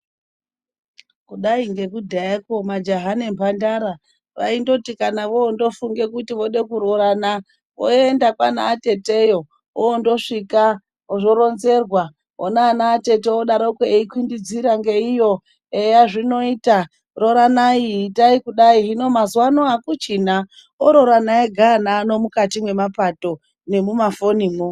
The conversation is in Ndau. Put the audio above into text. Kudai ngekudhayako, majaha nemhandara aindoti kana voondofunge kuti vode kurorana, voenda kwaana atete. Iyo vondosvika zvoronzerwa voone anaatete. Vodaroko, eikwinidzira ngeiyo, eya zvinoita rooranai itai kudai. Hino mazuva ano akuchina. Ororane ega ana mukati memapato nemumafonimwo.